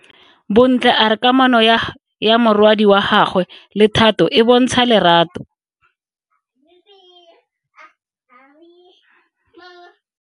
Bontle a re kamanô ya morwadi wa gagwe le Thato e bontsha lerato.